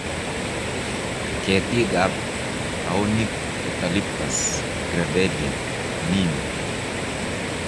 Ketikab baoinik-eucalyptus, gravellia, neem